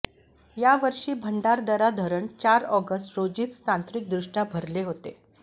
यावर्षी भंडारदरा धरण चार ऑगस्ट रोजीच तांत्रिक दृष्ट्या भरले होते